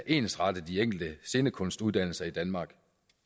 ensrette de enkelte scenekunstuddannelser i danmark